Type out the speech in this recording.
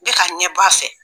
Bɛɛ ka ka ɲɛ bɔ fɛ.